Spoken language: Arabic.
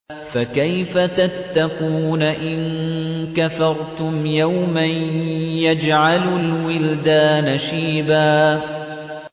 فَكَيْفَ تَتَّقُونَ إِن كَفَرْتُمْ يَوْمًا يَجْعَلُ الْوِلْدَانَ شِيبًا